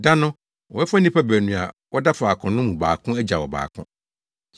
Da no, wɔbɛfa nnipa baanu a wɔda faako no mu baako agyaw ɔbaako.